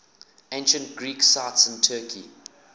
ancient greek sites in turkey